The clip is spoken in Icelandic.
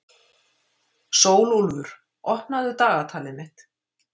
Sólúlfur, opnaðu dagatalið mitt.